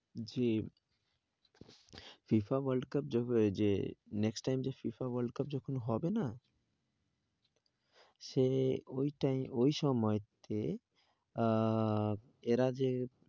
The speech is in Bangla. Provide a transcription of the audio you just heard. যে FIFA world cup যবে যে next time যে FIFA world cup যখন হবে না? সে ওই time ওই সময় তে আহ এরা যে